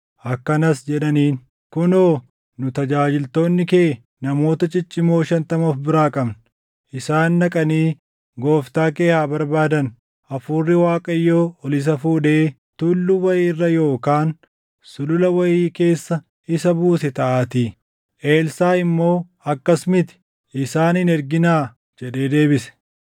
Akkanas jedhaniin; “Kunoo, nu tajaajiltoonni kee namoota ciccimoo shantama of biraa qabna. Isaan dhaqanii gooftaa kee haa barbaadan. Hafuurri Waaqayyoo ol isa fuudhee tulluu wayii irra yookaan sulula wayii keessa isa buuse taʼaatii.” Elsaaʼi immoo, “Akkas miti; isaan hin erginaa” jedhee deebise.